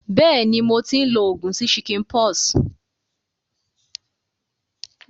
Béèni, mo ti n lo ogùn sí chickenpox